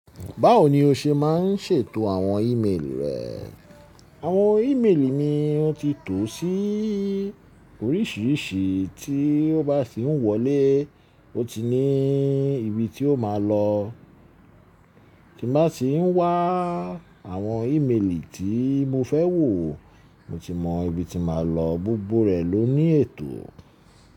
Báwo ni o ṣe máa ń ṣètò àwọn ímeèlì rẹ? Àwọn ímeèlì mi, ó ti tò sí oríṣìíríṣìí tí ó bá sì ń wọlé, ó ti ní ibi tí ó máa lọ. Tí n bá tì ń wá àwọn ímeèlì tí mo fẹ́ wò, mo ti mọ ibi tí máa lọ, gbogbo rẹ̀ ló ní ètò.